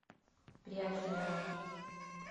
пряхиной